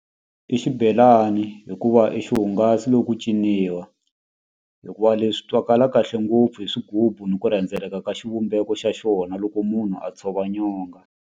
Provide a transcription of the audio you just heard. I xibelani hikuva i xihungasi lo ku ciniwa hikuva leswi twakala kahle ngopfu hi swigubu ni ku rhendzeleka ka xivumbeko xa xona loko munhu a tshova nyonga.